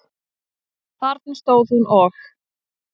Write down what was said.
Þarna stóð hún og.